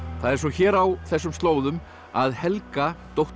það er svo hér á þessum slóðum að Helga dóttir